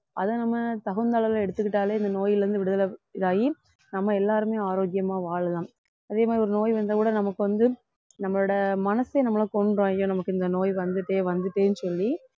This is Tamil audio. அதை நம்ம தகுந்த அளவுல எடுத்துக்கிட்டாலே இந்த நோயிலிருந்து விடுதலை இதாகி நம்ம எல்லாருமே ஆரோக்கியமா வாழலாம் அதே மாதிரி ஒரு நோய் வந்தா கூட நமக்கு வந்து நம்மளோட மனசே நம்மளை கொன்னுரும் ஐயோ நமக்கு இந்த நோய் வந்துட்டே வந்துட்டேன்னு சொல்லி